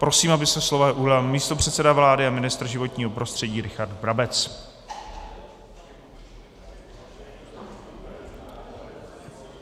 Prosím, aby se slova ujal místopředseda vlády a ministr životního prostředí Richard Brabec.